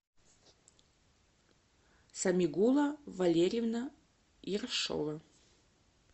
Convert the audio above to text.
самигула валерьевна ершова